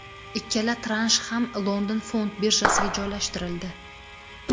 Ikkala transh ham London fond birjasiga joylashtirildi.